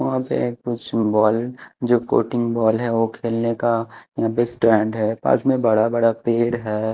वहां पर एक कुछ बॉल जो कोटिंग बॉल है खेलने का यहां पे स्टैंड है पास में बड़ा बड़ा पेड़ है।